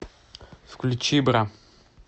включи бра